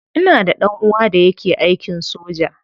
Ina da dan uwa da yake aikin soja.